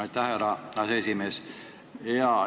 Aitäh, härra aseesimees!